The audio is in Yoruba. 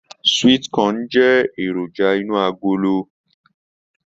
Sweet corn jẹ èròjà inú agolo.